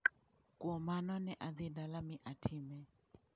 Kuom mano ne adhi dala mi atime."